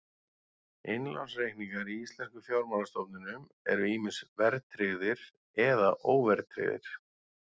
Innlánsreikningar í íslenskum fjármálastofnunum eru ýmist verðtryggðir eða óverðtryggðir.